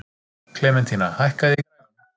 Klementína, hækkaðu í græjunum.